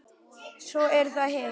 Svo er það hitt.